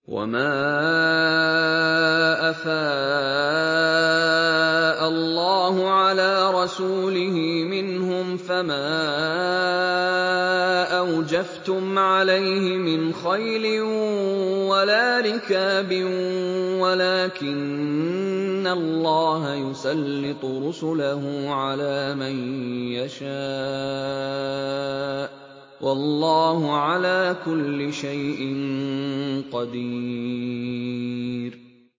وَمَا أَفَاءَ اللَّهُ عَلَىٰ رَسُولِهِ مِنْهُمْ فَمَا أَوْجَفْتُمْ عَلَيْهِ مِنْ خَيْلٍ وَلَا رِكَابٍ وَلَٰكِنَّ اللَّهَ يُسَلِّطُ رُسُلَهُ عَلَىٰ مَن يَشَاءُ ۚ وَاللَّهُ عَلَىٰ كُلِّ شَيْءٍ قَدِيرٌ